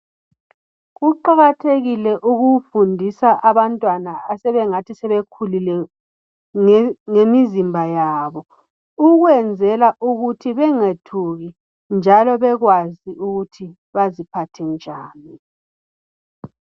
Kuqakathekile ukufundisa abantwana asebengathi sebekhulile ngemizimba yabo .Ukwenzela ukuthi bengethuki .Njalo bekwazi ukuthi baziphathe njani.